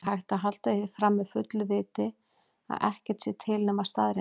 Er hægt að halda því fram með fullu viti að ekkert sé til nema staðreyndir?